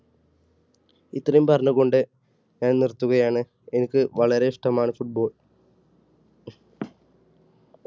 ഇത്രയും പറഞ്ഞു കൊണ്ട് ഞാൻ നിർത്തുകയാണ് എനിക്ക് വളരെ ഇഷ്ടമാണ് football.